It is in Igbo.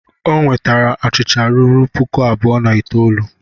Ọ nwetara achịcha ruru puku abụọ na itoolu.